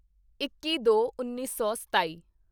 ਇੱਕੀਦੋਉੱਨੀ ਸੌ ਸਤਾਈ